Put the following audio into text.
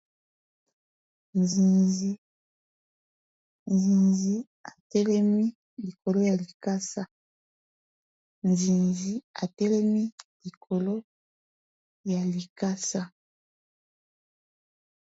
nzinzi atelemi likolo ya likasa